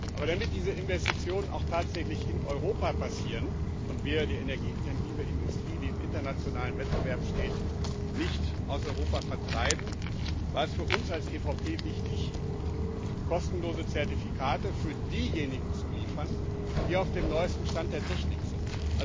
Aber damit diese Investitionen auch tatsächlich in Europa passieren und wir die energieintensive Industrie, die im internationalen Wettbewerb steht, nicht aus Europa vertreiben, war es für uns als EVP wichtig, kostenlose Zertifikate für diejenigen zu liefern, die auf dem neuesten Stand der Technik sind.